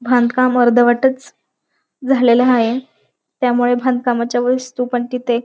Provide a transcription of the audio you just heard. बांधकाम अर्धवटच झालेल आहे. त्यामुळे बांधकामाच्या वस्तु पण तिथे--